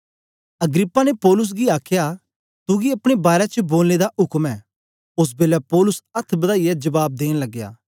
Agrippa ने पौलुस गी आखया तुगी अपने बारै च बोलने दा उक्म ऐ ओस बेलै पौलुस अथ्थ बदाईयै जबाब देन लगया